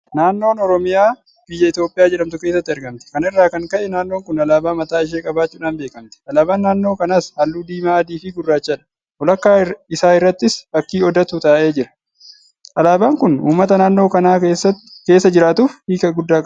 Naannoon Oromiyaa biyya Itoophiyaa jedhamtu keessatti argamti. Kana irraa kan ka'e naannoon kun alaabaa mataa ishee qabaachuudhaan beekamti. Alaabaan naannoo kanaas halluu Diimaa, Adiifi Gurraachadha. Walakkaa isaa irrattis Fakkii Odaatu ka'ee jira. Alaabaan kun uummata naannoo kana keessa jiraatuuf hiika guddaa qaba.